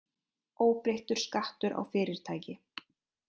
Óbreyttur skattur á fyrirtæki